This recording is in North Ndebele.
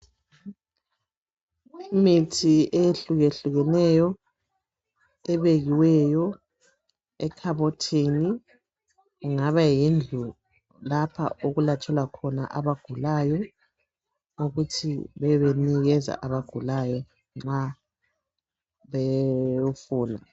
Imithi eyehlukehlukeneyo ebekiweyo ekhabothini kungaba yindlu lapha okulatshelwa khona abagulayo ukuthi babebenikeza abagulayo nxa bewufuna.